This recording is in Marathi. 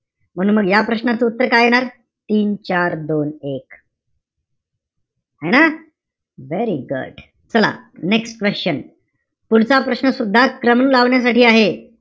म्हणून मग या प्रश्नाचं उत्तर काय येणार? तीन-चार-दोन-एक है ना? Very good. चला, next question. पुढचा प्रश्न सुद्धा क्रम लावण्यासाठी आहे.